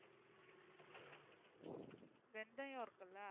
வெந்தயம் இருக்கில்ல